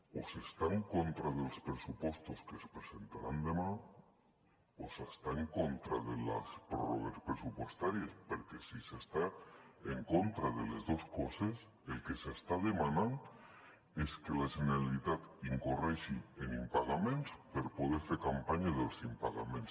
o s’està en contra dels pressupostos que es presentaran demà o s’està en contra de les pròrrogues pressupostàries perquè si s’està en contra de les dues coses el que s’està demanant és que la generalitat incorri en impagaments per poder fer campanya dels impagaments